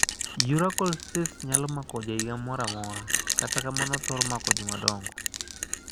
Urachal cysts nyalo mako jahiga moramora, katakamano othoro mako jomadongo.